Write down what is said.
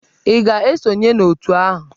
Ị ga-esonye n'òtù ahụ?